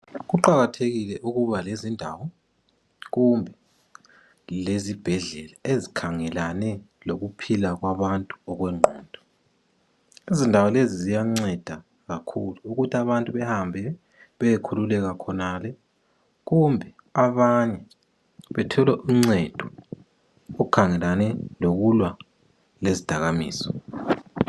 Kuqakathekile ukuba lezindawo kumbe lezibhedlela ezikhangelane lokuphila kwabantu okwengqondo, izindawo lezi ziyanceda kakhulu ukuthi abantu behambe beyekhululeka khonale kumbe abanye bethole uncedo olukhangelane lokulwa lezidakamizwa.